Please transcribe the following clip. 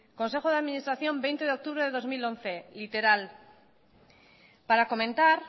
consejo de administración veinte de octubre del dos mil once literal para comentar